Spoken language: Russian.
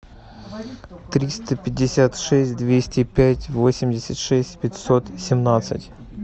триста пятьдесят шесть двести пять восемьдесят шесть пятьсот семнадцать